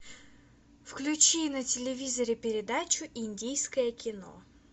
включи на телевизоре передачу индийское кино